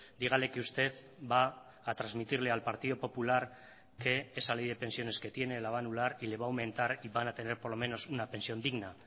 dígale que usted va a transmitirle al partido popular que esa ley de pensiones que tiene la va a anular y le va a aumentar y van a tener por lo menos una pensión digna